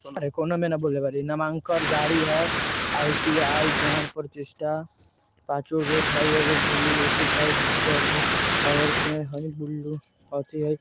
नामांकन जारी हई आइ.टी.आइ. ज्ञान प्रतिष्ठा पांचो गेट हई एगो ब्लू नोटिस हई आगे पेड़ हई ब्लू --